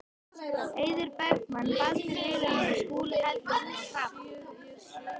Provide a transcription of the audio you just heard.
Eiður Bergmann, Baldur Vilhelmsson, Skúli Helgason og Hrafn